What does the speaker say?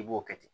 I b'o kɛ ten